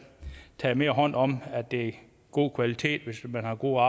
taget mere hånd om at det er god kvalitet hvis man har gode